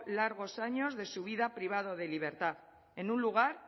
largos años de su vida privado de libertad en un lugar